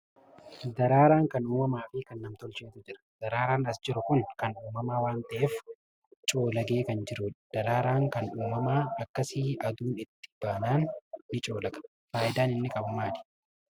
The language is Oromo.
Daraaraan kan uumamaa fi kan nam-tolcheetu jira. Daraaraan as jiru kun kan uumamaa waanta'eef, coolagee kan jirudha. Daraaraan kan uumamaa akkasii aduun itti baanaan ni coolaga. Faayidaan inni qabu maali?